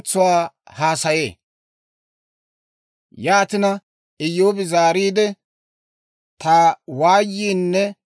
«Ta waayiinne ta kayyuu ubbay miizaanan likketteerenne!